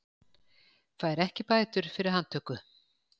Fær ekki bætur fyrir handtöku